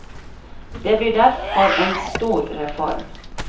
Det blir derfor en stor reform.